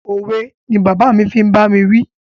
Òwe ni bàbá fi ń bá mi wí.